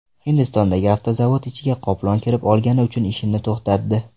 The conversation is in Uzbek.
Hindistondagi avtozavod ichiga qoplon kirib olgani uchun ishini to‘xtatdi.